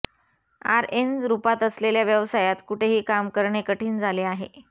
RN रूपात असलेल्या व्यवसायात कुठेही काम करणे कठीण झाले आहे